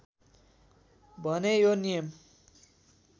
भने यो नियम